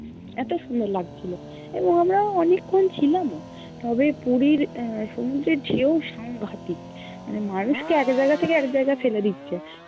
এত সুন্দর লাগছিলো এবং আমরা অনেকক্ষণ ছিলাম-ও তবে পুরির আহ সমুদ্রের ঢেউ সাংঘাতিক, মানে মানুষকে এক জায়গা থেকে এক জায়গায় ফেলে দিচ্ছে